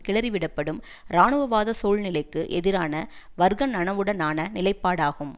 கிளறிவிடப்படும் இராணுவவாத சூழ்நிலைக்கு எதிரான வர்க்க நனவுடனான நிலைப்பாடாகும்